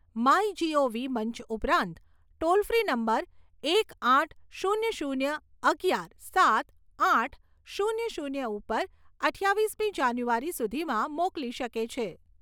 મંચ ઉપરાંત toll free number એક આઠ શૂન્ય શૂન્ય અગિયાર સાત આઠ શૂન્ય શૂન્ય ઉપર અઠ્ઠાવીસમી જાન્યુઆરી સુધીમાં મોકલી શકે છે.